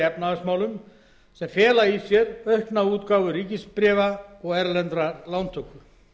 efnahagsmálum sem fela í sér aukna útgáfu ríkisbréfa og erlenda lántöku